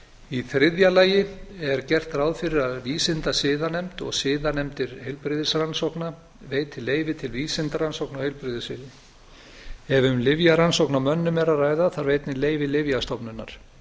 í þriðja lagi er gert ráð fyrir að vísindasiðanefnd og siðanefndir heilbrigðisrannsókna veiti leyfi til vísindarannsókna á heilbrigðissviði ef um lyfjarannsókn á mönnum er að ræða þarf einnig leyfi lyfjastofnunar